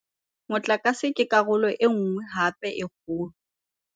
Motlakase ke karolo e nngwe hape ya kgolo.